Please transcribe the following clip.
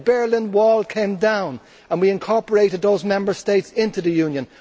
The Berlin Wall came down and we incorporated those Member States into the Union.